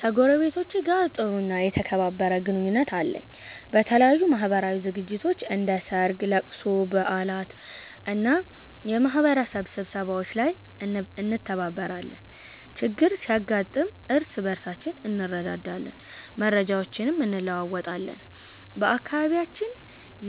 ከጎረቤቶቼ ጋር ጥሩ እና የተከባበረ ግንኙነት አለኝ። በተለያዩ ማህበራዊ ዝግጅቶች፣ እንደ ሠርግ፣ ለቅሶ፣ በዓላት እና የማህበረሰብ ስብሰባዎች ላይ እንተባበራለን። ችግር ሲያጋጥም እርስ በርሳችን እንረዳዳለን፣ መረጃዎችንም እንለዋወጣለን። በአካባቢያችን